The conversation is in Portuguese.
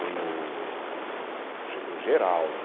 Tem o, o ge, o Geraldo.